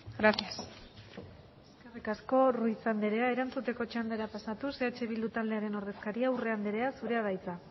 gracias eskerrik asko ruiz andrea erantzuteko txandara pasatuz eh bildu taldearen ordezkaria urrea andrea zurea da hitza